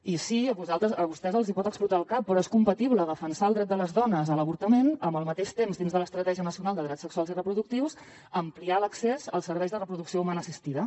i sí a vostès els pot explotar el cap però és compatible defensar el dret de les dones a l’avortament amb al mateix temps dins de l’estratègia nacional de drets sexuals i reproductius ampliar l’accés als serveis de reproducció humana assistida